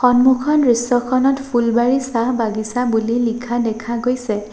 সন্মুখৰ দৃশ্যখনত ফুলবাৰী চাহ বাগিছা বুলি লিখা দেখা গৈছে।